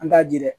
An t'a ji dɛ